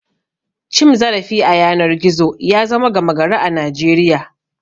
Cim zarafi a yanar gizo ya zama gama gari a Najeriya.